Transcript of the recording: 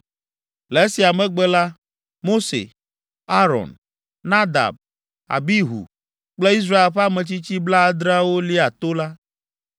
Le esia megbe la, Mose, Aron, Nadab, Abihu kple Israel ƒe ametsitsi blaadreawo lia to la.